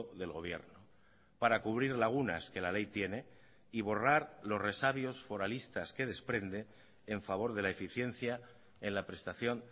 del gobierno para cubrir lagunas que la ley tiene y borrar los resabios foralistas que desprende en favor de la eficiencia en la prestación